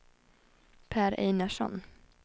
Pär Einarsson